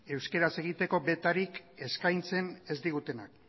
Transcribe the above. euskaraz egiteko betarik eskaintzen ez digutenak